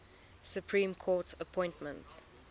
supreme court appointments